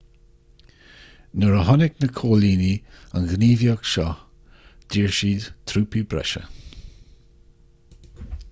nuair a chonaic na coilínigh an ghníomhaíocht seo d'iarr siad trúpaí breise